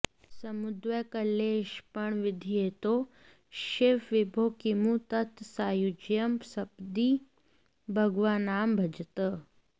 समुद्यद्वैकल्यक्षपणविधिहेतोः शिव विभो किमु त्वत्सायुज्यं सपदि भगवन्नाम भजतः